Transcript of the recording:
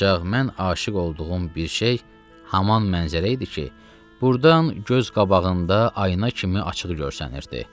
Ancaq mən aşiq olduğum bir şey haman mənzərə idi ki, burdan göz qabağında ayına kimi açıq görsənirdi.